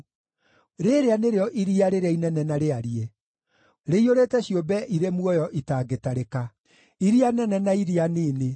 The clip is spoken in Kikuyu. Rĩĩrĩa nĩrĩo iria rĩrĩa inene na rĩariĩ, rĩiyũrĩte ciũmbe irĩ muoyo itangĩtarĩka, iria nene na iria nini.